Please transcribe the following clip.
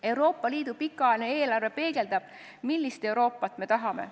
Euroopa Liidu pikaajaline eelarve peegeldab, millist Euroopat me tahame.